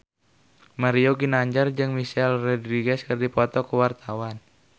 Mario Ginanjar jeung Michelle Rodriguez keur dipoto ku wartawan